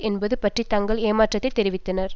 என்பது பற்றி தங்கள் ஏமாற்றத்தைத் தெரிவித்தனர்